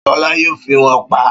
Ṣọlá yóò fi wón paá